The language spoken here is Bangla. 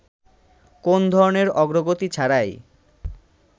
কোন ধরনের অগ্রগতি ছাড়াই